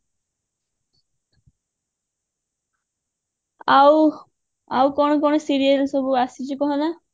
ଆଉ ଆଉ କଣ କଣ serial ସବୁ ଆସିଛି କହ ନା